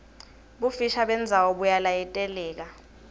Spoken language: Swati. bufisha bendzawo buyalayiteleka